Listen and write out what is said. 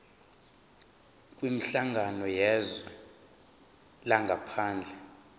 kwinhlangano yezwe langaphandle